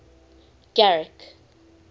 garrick